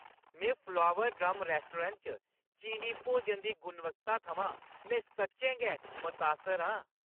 में flower drum restaurant च चीनी भोजन दी गुणवत्ता थमां में सच्चें गै मतासर आं।